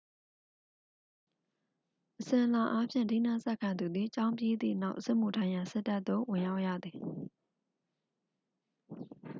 အစဉ်အလာအားဖြင့် ထီးနန်းဆက်ခံသူသည် ကျောင်းပြီးသည့်နောက် စစ်မှုထမ်းရန် စစ်တပ်သို့ ဝင်ရောက်ရသည်